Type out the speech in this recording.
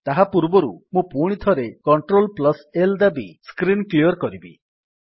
ତାହାପୂର୍ବରୁ ମୁଁ ପୁଣିଥରେ Cltl ଦାବି ସ୍କ୍ରୀନ୍ କ୍ଲିଅର୍ କରିବି